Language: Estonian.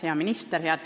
Hea minister!